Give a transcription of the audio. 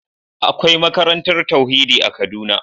Akwai makarantar tauhidi a kaduna.